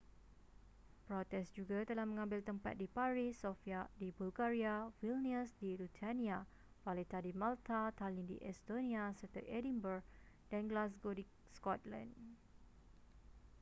protes juga telah mengambil tempat di paris sofia di bulgaria vilnius di lithuania valetta di malta tallinn di estonia serta edinburgh dan glasgow di scotland